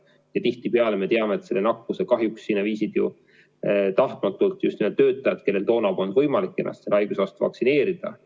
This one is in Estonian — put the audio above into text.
Ja tihtipeale me teame, et nakkuse kahjuks viisid sinna tahtmatult just nimelt töötajad, kellel toona polnud võimalik ennast selle haiguse vastu vaktsineerida.